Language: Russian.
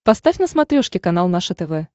поставь на смотрешке канал наше тв